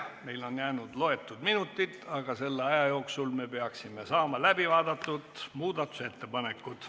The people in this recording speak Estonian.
Meil on jäänud mõned minutid, aga selle aja jooksul me peaksime saama läbi vaadatud muudatusettepanekud.